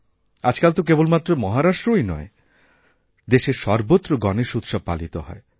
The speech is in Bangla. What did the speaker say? আজকাল তো কেবলমাত্র মহারাষ্ট্রই নয় দেশের সর্বত্র গণেশ উৎসব পালিত হয়